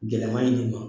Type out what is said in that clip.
Gɛlɛman in de ma